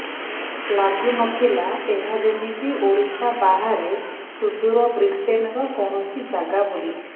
ଲାଗୁ ନଥିଲା ଏହା ଯେମିତି ଓଡ଼ିଶା ବାହାରେ ସୁଦୂର ବ୍ରିଟେନର କୌଣସି ଜାଗା ବୋଲି